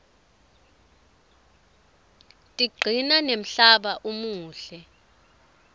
tiqcina nemhlaba umuhle